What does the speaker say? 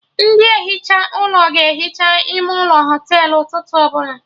Ndị ehicha ụlọ ga ehicha ime ụlọ Họtelụ ụtụtụ ọbụla